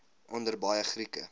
onder baie grieke